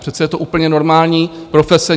Přece je to úplně normální profese.